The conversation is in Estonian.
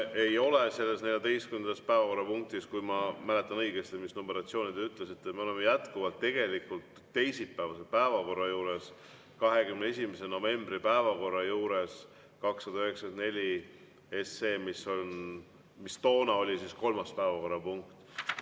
Me ei ole selles 14. päevakorrapunktis, kui ma mäletan õigesti, mis numeratsiooni te ütlesite, me oleme jätkuvalt tegelikult teisipäevase päevakorra juures, 21. novembri päevakorra juures, ja eelnõu on 294, mis toona oli kolmas päevakorrapunkt.